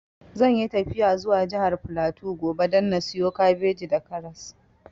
Zan yi tafiya zuwa jihar flatu gobe da na siyo kabeji da karas